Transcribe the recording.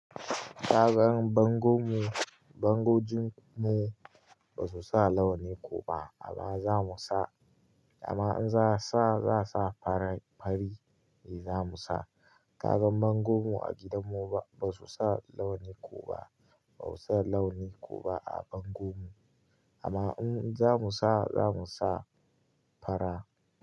Ka gan bango mu, bango ji mu ba su sa launi ko ba amma za mu sa, amma in za a sa, za a sa fara, fari ne za mu sa. Ka gan bango mu a gidan mu ba su sa launi ko ba, ba su sa launi ko ba a bango mu. Amma in za mu sa, za mu sa fara.